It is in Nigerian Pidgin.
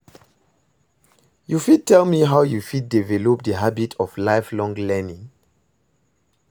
You fit tell me how you fit develop di habit of lifelong learning?